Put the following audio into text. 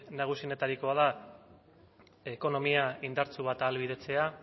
nagusienetarikoa da ekonomia indartsu bat ahalbidetzea